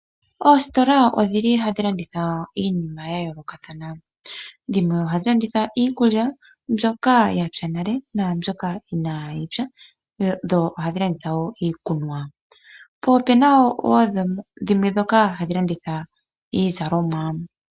Oositola odhi li hadhi landitha iinima ya yoolokathana dhimwe oha dhi landitha iikulya mbyoka ya pya nale naambyoka ina yi pya dho oha dhi landitha wo iikunwa po opu na wo dhimwe ndhoka hadhi landitha iizalomwa.